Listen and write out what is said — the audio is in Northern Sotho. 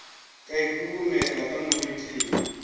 ka e huhumela ka moriting